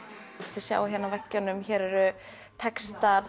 þið sjáið hér á veggjunum hér eru textar